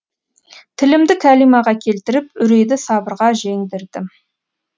тілімді кәлимаға келтіріп үрейді сабырға жеңдірдім